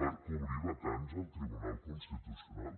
per cobrir vacants al tribunal constitucional